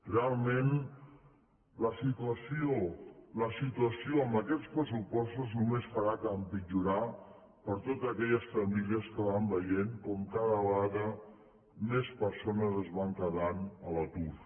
realment la situació amb aquests pressupostos només farà que empitjorar per a totes aquelles famílies que van veient com cada vegada més persones es van quedant a l’atur